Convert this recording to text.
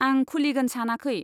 आं खुलिगोन सानाखै।